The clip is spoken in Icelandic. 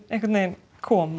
kom